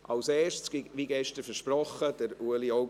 Als Erster, wie gestern versprochen: Ueli Augstburger.